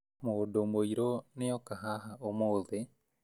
Mũndũ mũirũ nioka haha ũmũthĩ